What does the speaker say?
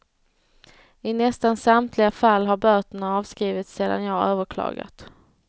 I nästan samtliga fall har böterna avskrivits sedan jag överklagat.